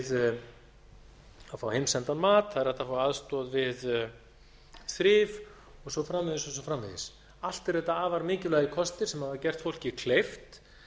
að fá heimsendan mat það er hægt að fá aðstoð við þrif og svo framvegis og svo framvegis allt eru þetta afar mikilvægir kostir sem hafa gert fólki kleift